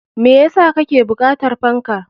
Me yasa kake bukatar fanka?